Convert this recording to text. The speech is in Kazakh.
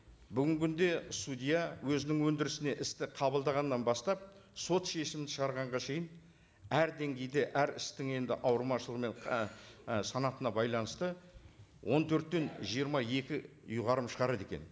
бүгінгі күнде судья өзінің өндірісіне істі қабылдағаннан бастап сот шешімін шығарғанға шейін әр деңгейде әр істің енді ауырмашылығымен ііі санатына байланысты он төрттен жиырма екі ұйғарым шығарады екен